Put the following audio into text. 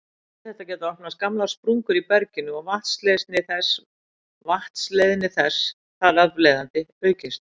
Við þetta geta opnast gamlar sprungur í berginu og vatnsleiðni þess þar af leiðandi aukist.